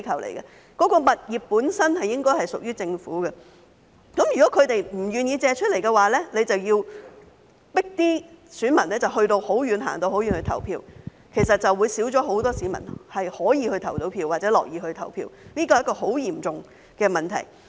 這些物業本身屬於政府，如果他們不願意借出，政府便要迫選民走很遠的路去投票，導致少了很多市民可以去投票或樂意去投票，這是很嚴重的問題。